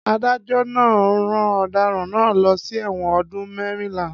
Adájó̩ náà rán ò̩daràn náà lo̩ sí è̩wò̩n o̩dún mé̩rìnlá